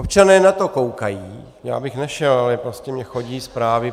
Občané na to koukají, já bych nešel, ale prostě mi chodí zprávy.